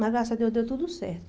Mas graças a Deus deu tudo certo.